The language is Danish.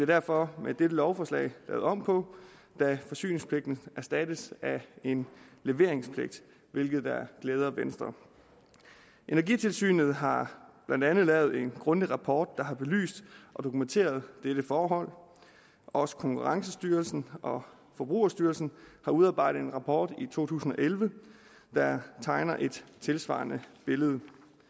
derfor med dette lovforslag lavet om på da forsyningspligten erstattes af en leveringspligt hvilket da glæder venstre energitilsynet har blandt andet lavet en grundig rapport der har belyst og dokumenteret dette forhold også konkurrencestyrelsen og forbrugerstyrelsen har udarbejdet en rapport i to tusind og elleve der tegner et tilsvarende billede